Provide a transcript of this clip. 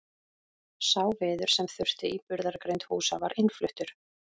Sá viður sem þurfti í burðargrind húsa var innfluttur.